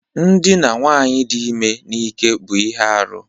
Ndina nwaanyị dị ime n'ike bụ ihe arụ